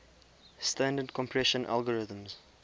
standard compression algorithms